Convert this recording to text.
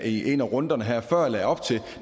i en af runderne her før lagde op til